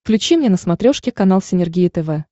включи мне на смотрешке канал синергия тв